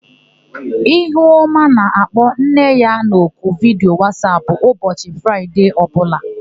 Ihuọma na-akpọ nne ya n'oku vidiyo Wasap ụbọchị Fraịde ọbụla.